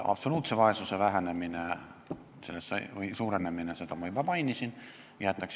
Absoluutse vaesuse suurenemist ma juba mainisin.